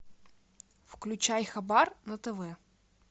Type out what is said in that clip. включай хабар на тв